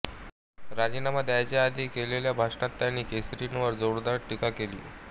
राजीनामा द्यायच्या आधी केलेल्या भाषणात त्यांनी केसरींवर जोरदार टीका केली